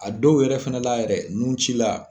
A dɔw yɛrɛ fɛnɛla yɛrɛ nunci la